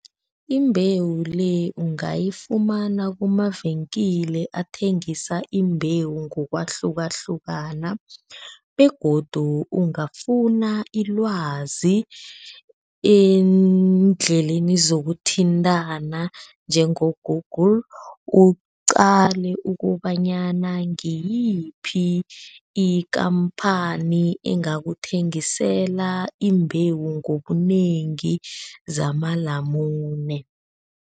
Imbewu le ungayifumana kumavenkile athengisa imbewu ngokwahlukahlukana begodu ungafuna ilwazi eendleleni zokuthintana njengo-Google, uqale ukobanyana ngiyiphi ikhamphani engakuthengisela imbewu ngobunengi zamalamune.